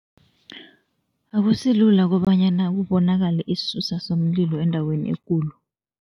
Akusilula kobanyana kubonakale isisusa somlilo endaweni ekulu.